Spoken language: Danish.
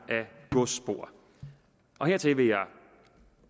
af godsspor hertil vil jeg